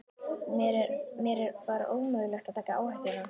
Mér var ómögulegt að taka áhættuna.